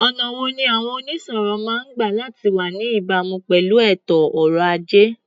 Ọ̀nà wo ni àwọn onísòwò máa ń gba láti wá ní ìbámu pẹ̀lú ètò ọrọ̀-ajé?